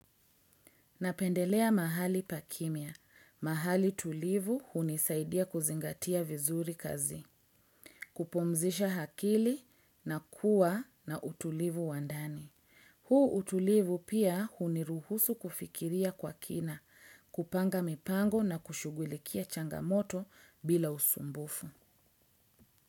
Napendelea mahali pa kimya. Mahali tulivu hunisaidia kuzingatia vizuri kazi, kupumzisha akili na kuwa na utulivu wa ndani. Huu utulivu pia huniruhusu kufikiria kwa kina, kupanga mipango na kushugulikia changamoto bila usumbufu.